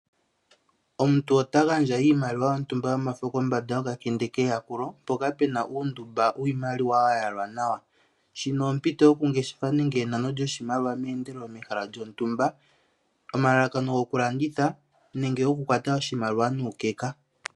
Omuntu ota gandja iimaliwa yontumba yomafo kombanda yoka kende keyakulo mpoka pena uundumba wiimaliwa ya yalwa nawa, shino ompito yoku ngeshefa nenge enano lyoshi maliwa meendelelo mehala lyontumba omalalakano goku landitha nenge okukwata oshimaliwa.